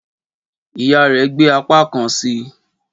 Ìyá rẹ̀ gbé apá kan sí i